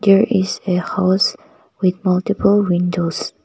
there is a house with multiple windows.